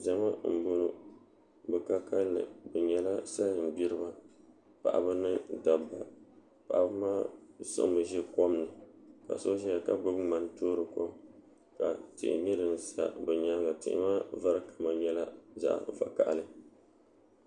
Zama n boŋo bi ka kanli bi nyɛla salin gbiriba paɣaba ni dabba paɣaba maa siɣimi ʒi kom ni ka so ʒɛya ka gbuni ŋmani toori kom ka tihi nyɛ din sa bi nyaanga tihi maa vari kama nyɛla zaɣ vakaɣali